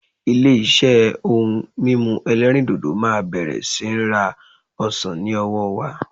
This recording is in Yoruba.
Ilé-iṣẹ́ ohun mímu ẹlẹ́rìdòdò máa bẹ̀rẹ̀ sí ní ra ọsàn ní ọwọ́ wa.